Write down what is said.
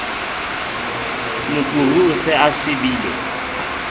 mokuru o se o sibile